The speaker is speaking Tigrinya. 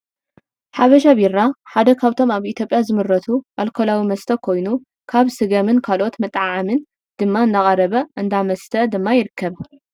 ሐበሻ ቢራ ሓደ ካብቶም ኣብ ኢትዮጵያ ዝምረቱ ኣልኮላዊ መስተ ኮይኑ ካብ ስገምን ካልኦት መጥዓምን ድማ እንዳቀረበ ኣብ እንዳመስተ ድማ ይርከብ።